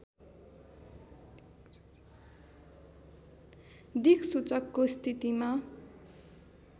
दिक्सूचकको स्थितिमा